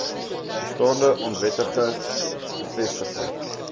bestaande onwettig gevestigde